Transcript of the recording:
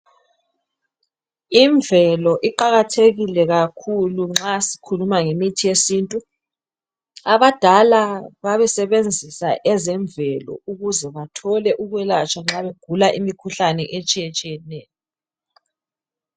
Imvelo iqakathekile kakhulu nxa sikhuluma ngemithi yesintu. Abadala babesebenzisa ezemvelo ukuze bathole ukwelatshwa nxa begula imikhuhlane etshiye tshiyeneyo